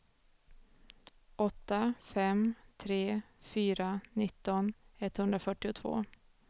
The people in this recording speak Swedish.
åtta fem tre fyra nitton etthundrafyrtiotvå